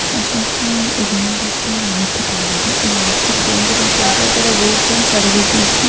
First of all ఇది ఏంటంటే market అన్నమాట. ఈ మార్కెట్ దేని గురించి అంటే ఇక్కడ రోడ్స్ అండ్ సర్వీసెస్ .